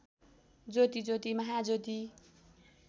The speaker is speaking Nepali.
ज्योति ज्योति महाज्योति